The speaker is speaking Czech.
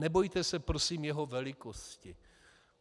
Nebojte se prosím jeho velikosti.